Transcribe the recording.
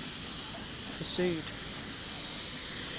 forsøget